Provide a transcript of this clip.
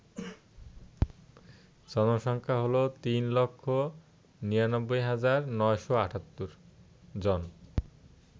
জনসংখ্যা হল ৩৯৯৯৭৮ জন